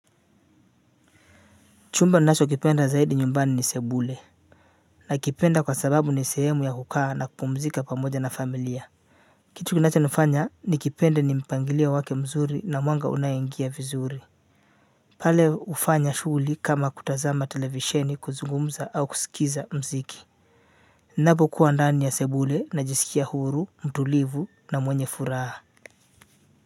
Chumba ninachokipenda zaidi nyumbani ni sebule. Na kipenda kwa sababu ni sehemu ya kukaa na kuzungumza pamoja na familia. Kitu kinachonifanya nikipende ni mpangilio wake mzuri na mwanga unaoingia vizuri. Pale hufanya shughuli kama kutazama televisheni, kuzungumza au kusikiliza muziki. Ninapokuwa ndani ya sebule, najisikia huru, mtulivu na mwenye furaha.